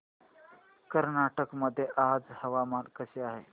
कर्नाटक मध्ये आज हवामान कसे आहे